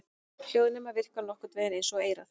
Hljóðnemar virka nokkurn vegin eins og eyrað.